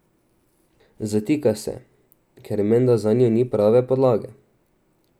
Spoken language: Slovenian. Zatika se, ker menda zanjo ni pravne podlage.